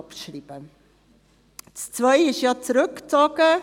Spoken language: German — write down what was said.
Der Punkt 2 wurde ja zurückgezogen.